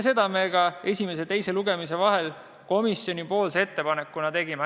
Seda me esimese ja teise lugemise vahel komisjoni ettepanekuna ka tegime.